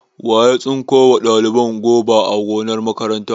Wa ya tsinko wa ɗaliban goba a gonar makaranta?